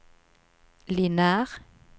lineær